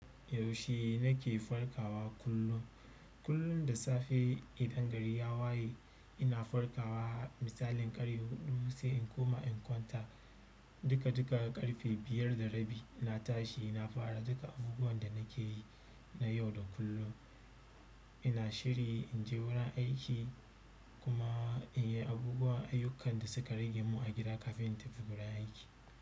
Yaushe nake farkawa kullum. Kullum da safe idan gari ya waye ina farkawa misalin ƙarfe huɗu sai in koma in kwanta. Duka duka ƙarfe biyar da rabi na tashi na fara duka abubuwan da nake yi na yau da kullum. Ina shiri inje wurin aiki kuma inyi abubuwan ayyukan da suka rage mu a gida kafin in tafi wurin aiki.